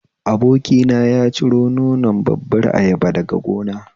Abokina ya ciro nonon babbar ayaba daga gona